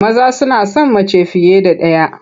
Maza suna son mace fiye da ɗaya.